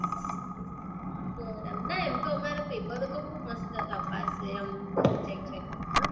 ના ના એમ તો અમારા પેપરો તો બૌ મસ્ત તપાસે આમ check check કરવામાં.